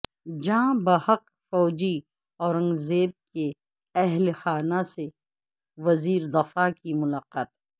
جاں بحق فوجی اورنگ زیب کے اہل خانہ سے وزیر دفاع کی ملاقات